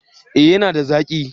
Eh ya na da zaki